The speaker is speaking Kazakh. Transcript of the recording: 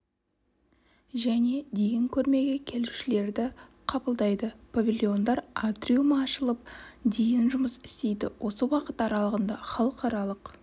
және дейін көрмеге келушілерді қабылдайды павильондар атриумы ашылып дейін жұмыс істейді осы уақыт аралығында халықаралық